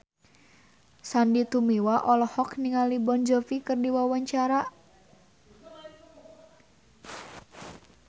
Sandy Tumiwa olohok ningali Jon Bon Jovi keur diwawancara